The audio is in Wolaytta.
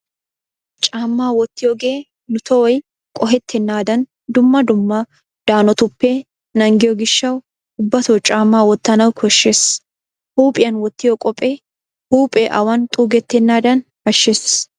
Caammaa wottiyogee nu tohoy qohettennaadan dumma dumma danotuppe naagiyo gishshawu ubbato caammaa wottanawu koshshees. Huuphiyan wottiyo qophee huuphee awan xuugetennaadan ashshees.